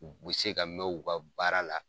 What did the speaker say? U be se ka mɛn u ka baara la .